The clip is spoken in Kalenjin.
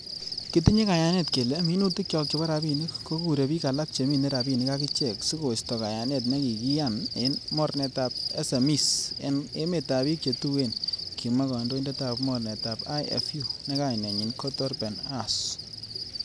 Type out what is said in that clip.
'Kitinye kayanet kelee minutikyok chebo rabinik ko kure bik alak chemine rabinik akichek sikoiisto kayanet nekikiyan en mornetab SMEs en emetab bik che tuen,''kimwa kandoindetab mornetab IFU, ne kainenyin ko Torben Huss.